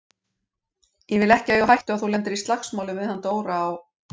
Ég vil ekki eiga á hættu að þú lendir í slagsmálum við hann Dóra á